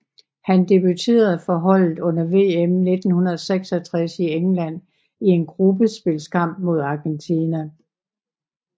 Han debuterede for holdet under VM 1966 i England i en gruppespilskamp mod Argentina